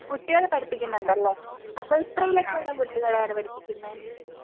കൂട്ടികളെ പഠിപ്പിക്കുന്നുണ്ടല്ലേ അപ്പൊ എത്രയിലൊക്കെയുള്ള കുട്ടികളെയാണ് പഠിപ്പിക്കുന്നെ?